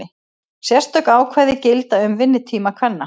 Sérstök ákvæði gilda um vinnutíma kvenna.